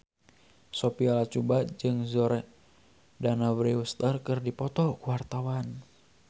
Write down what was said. Sophia Latjuba jeung Jordana Brewster keur dipoto ku wartawan